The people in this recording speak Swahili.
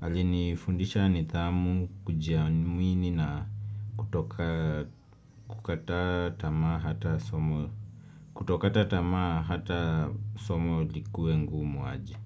Alinifundisha nidhamu kujiamini na kutokata tamaa hata somo likuwe ngumu aje.